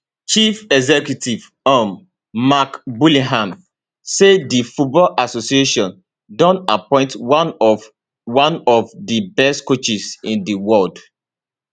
chief executive um mark bullingham say di football association don appoint one of one of di best coaches in di world